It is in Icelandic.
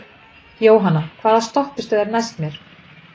Jónanna, hvaða stoppistöð er næst mér?